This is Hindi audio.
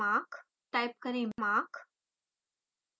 टाइप करें mach